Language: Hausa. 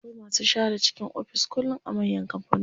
Akwai masu share cikin ofis kullum a manyan kampanoni.